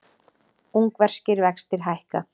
Ungverskir vextir hækka